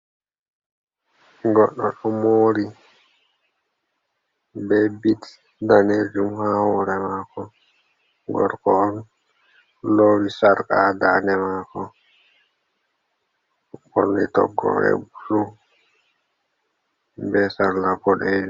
Goɗɗo ɗo mori, be bit daneejum ha hore mako. Gorko on, lowi sarƙa ha dande mako, ɓorni toggore blu, be sarla boɗeejum.